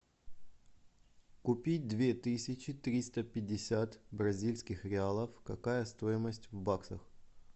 купить две тысячи триста пятьдесят бразильских реалов какая стоимость в баксах